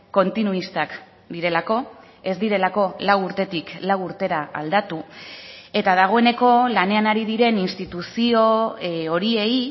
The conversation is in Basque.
kontinuistak direlako ez direlako lau urtetik lau urtera aldatu eta dagoeneko lanean ari diren instituzio horiei